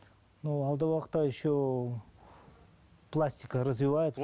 ну алдағы уақытта еще пластика развивается